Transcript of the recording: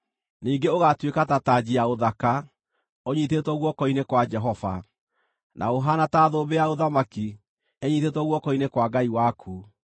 Ningĩ ũgaatuĩka ta tanji ya ũthaka ũnyiitĩtwo guoko-inĩ kwa Jehova, na ũhaana ta thũmbĩ ya ũthamaki ĩnyiitĩtwo guoko-inĩ kwa Ngai waku.